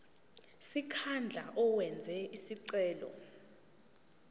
sikhundla owenze isicelo